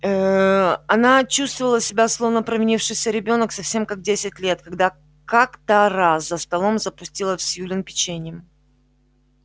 ээ она чувствовала себя словно провинившийся ребёнок совсем как в десять лет когда как-то раз за столом запустила в сьюлин печеньем